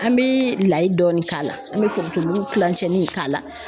An bee layi dɔɔni k'a la an be forontomugu kilancɛ in k'a la